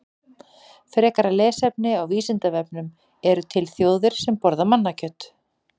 Frekara lesefni á Vísindavefnum: Eru til þjóðir sem borða mannakjöt?